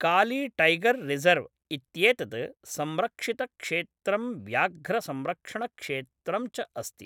Kali tiger reserve इत्येतत् संरक्षितक्षेत्रं व्याघ्रसंरक्षणक्षेत्रं च अस्ति।